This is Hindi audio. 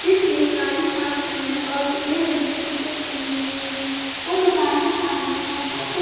जिसने काली हाफ पेंट और पीले रंग की टी-शर्ट पहनी हुई है वो दुकान के सामने ठहर कर कुछ--